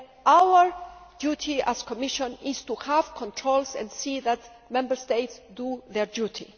Our duty as the Commission is to have controls and to see that Member States do their duty.